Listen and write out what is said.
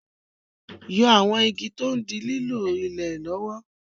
Yọ àwọn igi tí ó ń dí lílo ilẹ̀ lọ́wọ́.